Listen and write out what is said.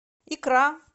икра